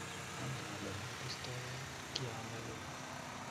Angen ale mebisto ya kianyalil